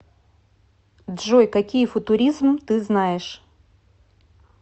джой какие футуризм ты знаешь